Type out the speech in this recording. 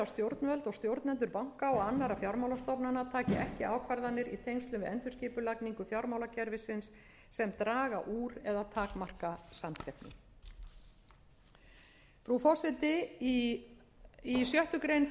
stjórnvöld og stjórnendur banka og annarra fjármálastofnana taki ekki ákvarðanir í tengslum við endurskipulagningu fjármálakerfisins sem draga úr eða takmarka samkeppni frú forseti í sjöttu greinar frumvarpsins